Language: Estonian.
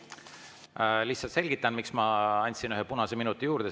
Lihtsalt selgitan, miks ma andsin ühe punase minuti juurde.